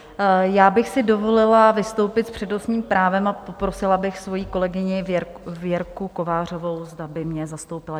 Já bych si dovolila vystoupit s přednostním právem a poprosila bych svoji kolegyni Věrku Kovářovou, zda by mě zastoupila.